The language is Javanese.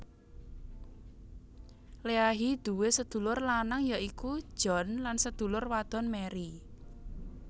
Leahy duwé sedulur lanang yaiku John lansedulur wadon Mary